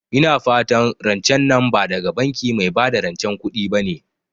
Ina fatan rancen nan ba daga banki mai bada rancen kuɗi bane?